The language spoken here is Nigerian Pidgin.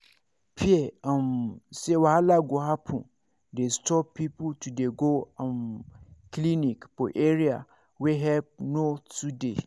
fear um say wahala go happen dey stop people to dey go um clinic for area wey help no to dey.